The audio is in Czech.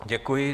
Děkuji.